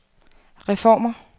reformer